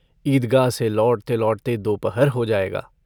ईदगाह से लौटते-लौटते दोपहर हो जाएगा।